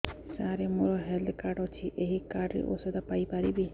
ସାର ମୋର health card ଅଛି ଏହି କାର୍ଡ ରେ ଔଷଧ ପାଇପାରିବି